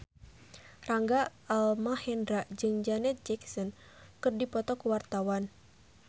Rangga Almahendra jeung Janet Jackson keur dipoto ku wartawan